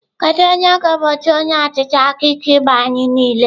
Kedu onye ga-egbochi onye ọchịchị aka ike igbu anyị niile?